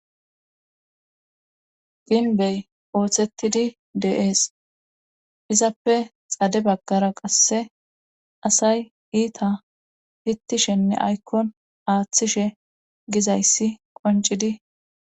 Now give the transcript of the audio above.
Pinbey ooththettidi de7ees izappe xade baggara qasse asay iita hittishenne aykkon aaththishe gizayssi qoncidi.